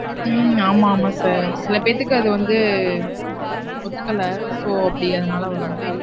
உம் ஆமா, ஆமா sir சில பேத்துக்கு அது வந்து ஒதுக்கல. so அப்டி அதுனால வரும்.